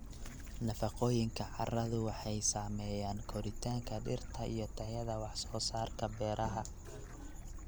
Nafaqooyinka carradu waxay saameeyaan koritaanka dhirta iyo tayada wax soo saarka beeraha.